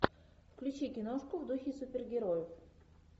включи киношку в духе супергероев